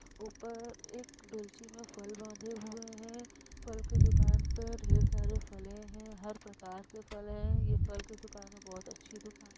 ऊपर एक डोलची में फल बांधे हुऐ हैं। फल की दुकान पे ढेर सारे फले हैं। हर प्रकार के फल हैं। ये फल की दुकान बहुत अच्छी दुकान --